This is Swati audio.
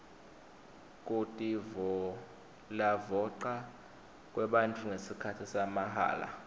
kutivolavoca kwebafundzi ngesikhatsi samahala